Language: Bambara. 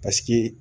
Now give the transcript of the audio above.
Paseke